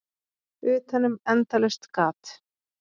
Utanum endalaust gat.